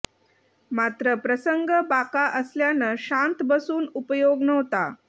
मात्र प्रसंग बाका असल्यानं शांत बसून उपयोग नव्हता